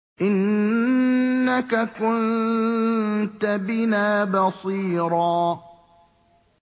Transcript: إِنَّكَ كُنتَ بِنَا بَصِيرًا